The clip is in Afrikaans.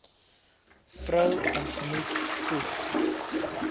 vrou ontmoet voeg